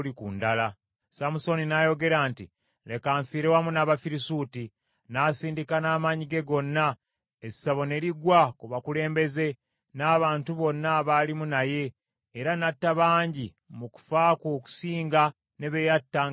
Samusooni n’ayogera nti, “Leka nfiire wamu n’Abafirisuuti.” N’asindika n’amaanyi ge gonna, essabo ne ligwa ku bakulembeze, n’abantu bonna abaalimu naye, era n’atta bangi mu kufa kwe okusinga ne be yatta nga mulamu.